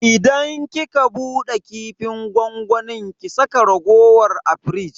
Idan kika bude kifin gwangwamin ki saka raguwar a firij.